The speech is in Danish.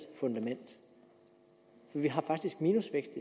fundament vi har faktisk minusvækst